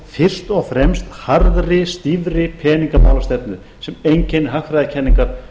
fyrst og fremst fyrir harðri stýrðri peningamálastefnu sem einkennir hagfræðikenningar